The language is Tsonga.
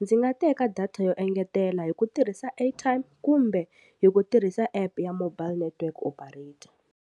ndzi nga teka data yo engetela hi ku tirhisa airtime kumbe hi ku tirhisa epu ya mobile network operator.